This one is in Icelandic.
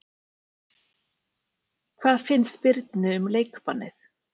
Hvað finnst Birni um leikbannið?